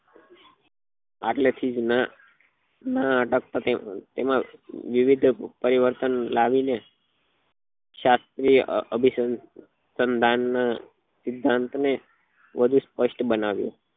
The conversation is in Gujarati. આટલે થી જ નાં નાટક પત્યું એમાં વિવિધ પરિવર્તન લાવી ને શાસ્ત્રીય અ અભી અભિસંધાન સિધાંત ને વધુ સ્પષ્ટ બનાવ્યું